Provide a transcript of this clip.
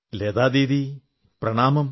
Lata Didi Pranamam